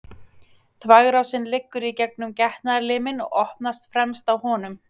Þvagrásin liggur í gegnum getnaðarliminn og opnast fremst á honum.